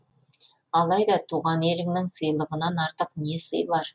алайда туған еліңнің сыйлығынан артық не сый бар